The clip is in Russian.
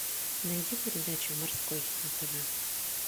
найди передачу морской на тв